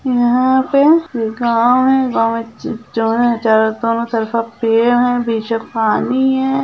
यहाँ पे गांव हैं गांव मे जो हैं चारों तरफ़ पेड़ हैं बीच मे पानी है।